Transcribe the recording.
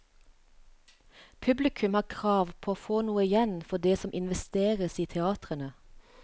Publikum har krav på å få noe igjen for det som investeres i teatrene.